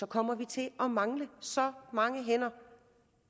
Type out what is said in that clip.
kommer til at mangle så mange hænder